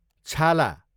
छाला